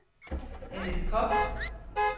Annette Kock